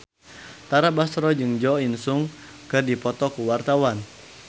Tara Basro jeung Jo In Sung keur dipoto ku wartawan